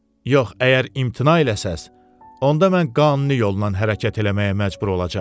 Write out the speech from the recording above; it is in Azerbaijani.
Yox, əgər imtina eləsəz, onda mən qanuni yolla hərəkət eləməyə məcbur olacam.